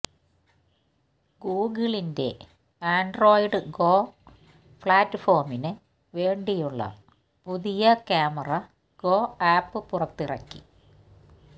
ഗൂഗിളിന്റ Android Go പ്ലാറ്റ്ഫോമിന് വേണ്ടിയുള്ള പുതിയ ക്യാമറ ഗോ ആപ്പ് പുറത്തിറക്കി